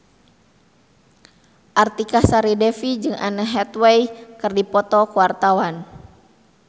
Artika Sari Devi jeung Anne Hathaway keur dipoto ku wartawan